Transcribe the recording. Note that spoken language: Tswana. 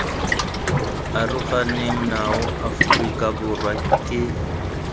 aroganeng nao aforika borwa key